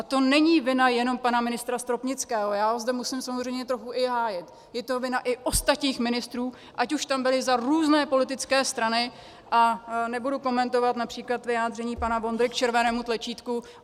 A to není vina jenom pana ministra Stropnického, já ho zde musím samozřejmě trochu i hájit, je to vina i ostatních ministrů, ať už tam byli za různé politické strany, a nebudu komentovat například vyjádření pana Vondry k červenému tlačítku.